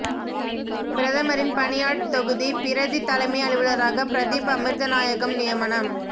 பிரதமரின் பணியாட் தொகுதி பிரதி தலைமை அலுவலராக பிரதீப் அமிர்தநாயகம் நியமனம்